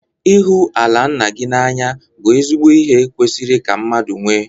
Ịhụ ala nna gị na-anya bụ ezigbo ihe kwesịrị ka mmadụ nwee.